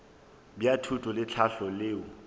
bja thuto le tlhahlo leo